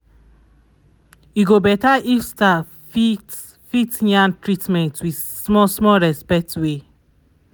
e go better if staff fit fit yarn treatments with small small respect way.